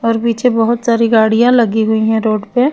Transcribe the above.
और पीछे बोहोत सारी गाड़िया लगी हुयी है रोड पे।